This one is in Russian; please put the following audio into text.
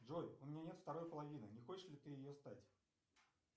джой у меня нет второй половины не хочешь ли ты ею стать